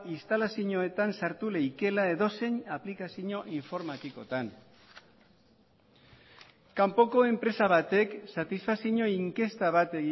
instalazioetan sartu leikela edozein aplikazio informatikotan kanpoko enpresa batek satisfakzio inkesta bat